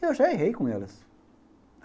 E eu já errei com elas.